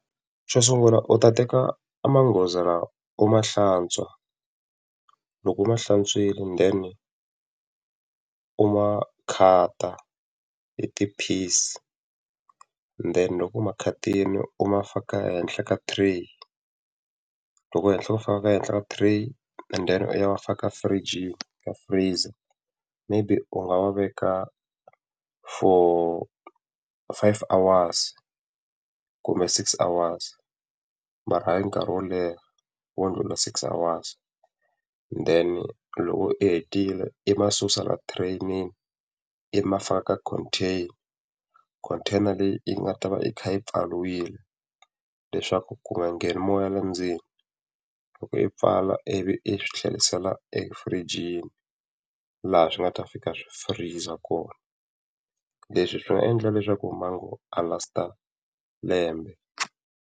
Xo sungula u ta teka magoza lawa. U ma hlantswa, loko u ma hlantswile then u ma khata hi ti-piece, then loko u ma khatile u ma faka henhla ka tray, loko ku faka ehenhla ka tray and then u ya ma faka firijini ya freeze-a. Maybe u nga ma veka for five hours kumbe six hours mara hayi nkarhi wo leha wo ndlula six hours. Then loko u hetile i ma susa laha tireyinini i ma faka ka contain. Container leyi yi nga ta va yi pfariwile leswaku yi nga ngheni moya laha ndzeni. Loko u yi pfala ivi i swi tlherisela firijini laha swi nga ta fika swi firiza kona. Leswi swi nga endla leswaku mango a last-a lembe.